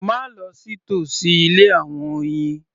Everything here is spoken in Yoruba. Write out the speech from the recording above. Má lọ sí tòsí ilé àwọn oyin